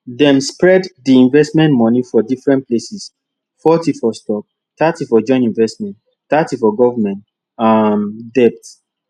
dem spread di investment money for different places forty for stocks thirty for joint investments thirty for government um debt